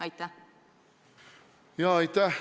Aitäh!